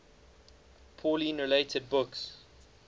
pauline related books